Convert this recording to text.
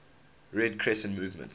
red crescent movement